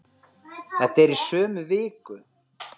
Þetta er í sömu viku!